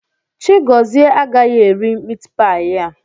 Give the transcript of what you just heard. Chigọzie agaghị eri mitpaị a.